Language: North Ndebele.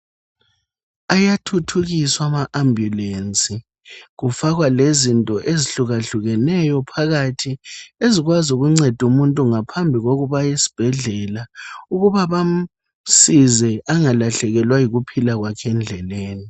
Ayathuthukiswa ama ambulance kufakwa lezinto ezehlukahlukeneyo phakathi ezikwazi ukunceda umuntu ngaphambi kokuba aye esibhedlela ukuba bamsize engalahlekelwa yikuphila kwakhe endleleni